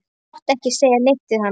Þú mátt ekki segja neitt við hana.